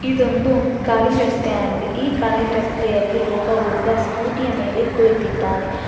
ಇದೊಂದು ಖಾಲಿ ರಸ್ತೆ ಆಗಿದೆ ಈ ಖಾಲಿ ರಸ್ತೆಯಲ್ಲಿ ಒಬ್ಬ ಹುಡುಗ ಸ್ಕೂಟಿ ಯ ಮೇಲೆ ಕುಳಿತಿದ್ದಾನೆ.